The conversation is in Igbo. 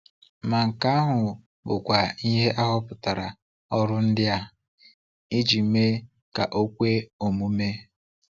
Ma nke ahụ bụkwa ihe a họpụtara ọrụ ndị a iji mee ka o kwe omume.